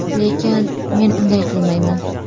Lekin, men unday qilmayman.